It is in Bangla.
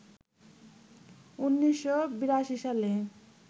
১৯৮২ সালে